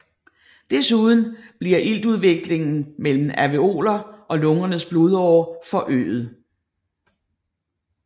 Desuden bliver iltudvekslingen mellem alveoler og lungernes blodårer forøget